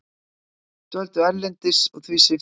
Dvöldu erlendis og því sviptir bótum